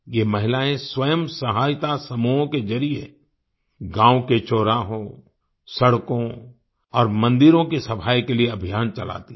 ये महिलाएं स्वयं सहायता समूहों के जरिए गाँव के चौराहों सड़कों और मंदिरों के सफाई के लिए अभियान चलाती हैं